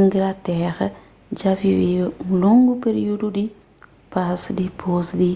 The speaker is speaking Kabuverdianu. inglatera dja viveba un longu períudu di pas dipôs di